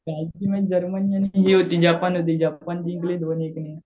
कालची match Germany आणि हे होती जपान होती. जपान जिंकली दोन एक ने.